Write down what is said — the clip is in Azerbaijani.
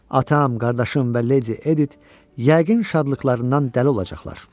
Atam, qardaşım və Lady Edith, yəqin şadlıqlarından dəli olacaqlar.